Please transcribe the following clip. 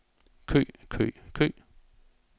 kø kø kø